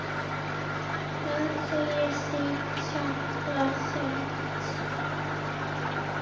Það segir sig líklega sjálft.